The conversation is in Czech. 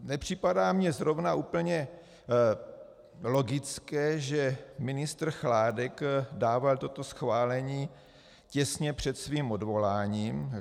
Nepřipadá mi zrovna úplně logické, že ministr Chládek dával toto schválení těsně před svým odvoláním.